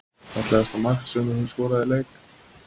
Fallegasta mark sem þú hefur skorað í leik?